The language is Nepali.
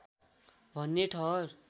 भन्ने ठहर